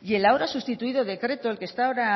y el ahora sustituido decreto el que está ahora